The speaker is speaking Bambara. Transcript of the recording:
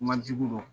Majigin dɔn